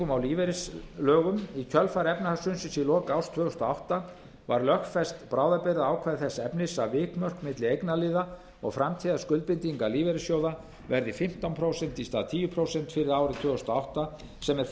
að breytingum á lífeyrislögum í kjölfar efnahagshrunsins í lok árs tvö þúsund og átta var lögfest bráðabirgðaákvæði þess efnis að vikmörk milli eignarliða og framtíðarskuldbindinga lífeyrissjóða verði fimmtán prósent í stað tíu prósent fyrir árið tvö þúsund og átta sem er